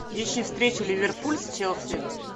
ищи встречу ливерпуль с челси